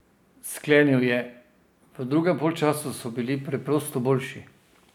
Sklenil je: "V drugem polčasu so bili preprosto boljši.